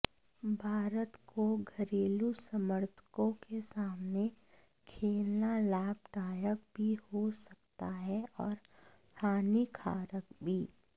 भारत को घरेलू समर्थकों के सामने खेलना लाभदायक भी हो सकता है और हानिकारक भी